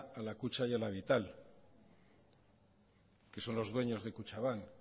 a la kutxa y la vital que son los dueño de kutxabank